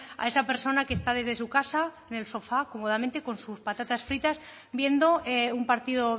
a esa persona que está desde su casa en el sofá cómodamente con sus patatas fritas viendo un partido